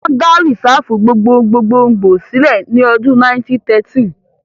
Wọ́n dá Rìsáàfù gbogbogbòò sílẹ̀ ní ọdún 1913